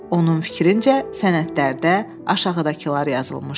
Onun fikrincə sənədlərdə aşağıdakılar yazılmışdı: